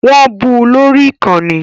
Wọ́n bu lórí ìkànnì